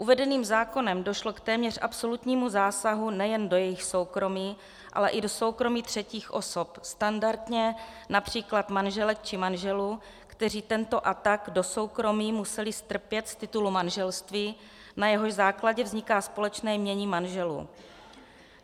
Uvedeným zákonem došlo k téměř absolutnímu zásahu nejen do jejich soukromí, ale i do soukromí třetích osob, standardně například manželek či manželů, kteří tento atak do soukromí museli strpět z titulu manželství, na jehož základě vzniká společné jmění manželů.